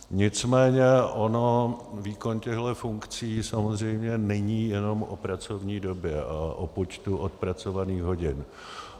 Nicméně on výkon těchto funkcí samozřejmě není jenom o pracovní době a o počtu odpracovaných hodin.